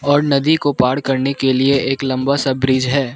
और नदी को पार करने के लिए एक लंबा सा ब्रिज है।